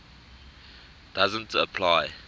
doesn t apply